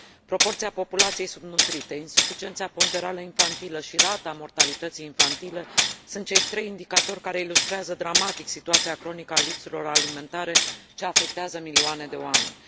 Proporția populației subnutrite, insuficiența ponderală infantilă și rata mortalității infantile sunt cei trei indicatori care ilustrează dramatic situația cronică a lipsurilor alimentare ce afectează milioane de oameni.